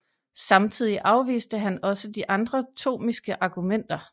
Samtidig afviste han også de andre thomistiske argumenter